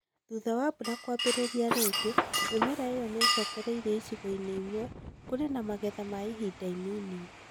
Thutha wa mbura kwambĩrĩria rĩngĩ, mimera ĩyo nĩ ũcokereire. Icigo-inĩ imwe, kũrĩ na magetha ma ihinda inini.